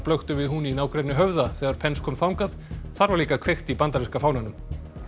blöktu við hún í nágrenni Höfða þegar Pence kom þangað þar var líka kveikt í bandaríska fánanum